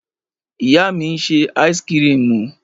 Ìyá mi ń ṣe áísíkrimù.